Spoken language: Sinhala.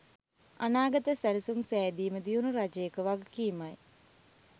අනාගත සැලසුම් සෑදීම දියුණු රජයක වගකීමයි.